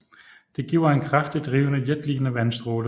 Det giver en kraftig drivende jetlignende vandstråle